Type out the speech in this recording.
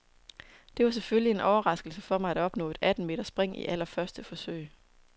Det var selvfølgelig en overraskelse for mig at opnå et atten meter spring i allerførste forsøg.